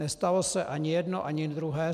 Nestalo se ani jedno ani druhé.